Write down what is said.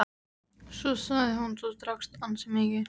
Svo sagði hún:-Þú drakkst ansi mikið.